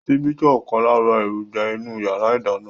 Síbi jẹ́ ọ̀kan lára èròjà inú yàrá ìdáná